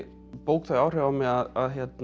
bók þau áhrif á mig að